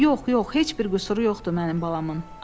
“Yox, yox, heç bir qüsuru yoxdur mənim balamın.”